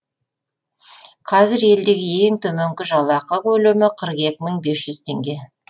қазір елдегі ең төменгі жалақы көлемі қырық екі мың бес жүз теңге